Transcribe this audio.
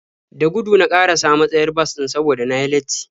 Da gudu na ƙarasa matsayar bas ɗin saboda na yi latti.